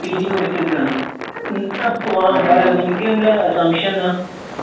പീജികൊടുത്തേക്കുവാന്ന്. ഉം അപ്പൊ പറാ നിനക്കെന്താ സംശയെന്നാ?